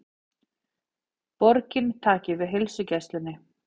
Borgin taki við heilsugæslunni